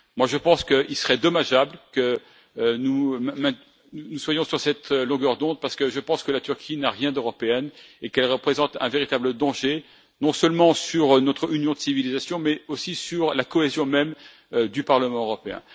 Selon moi, il serait dommageable que nous soyons sur cette longueur d'onde, parce que je pense que la Turquie n'a rien d'européen et qu'elle représente un véritable danger, non seulement pour notre union de civilisations, mais aussi pour la cohésion même du Parlement européen.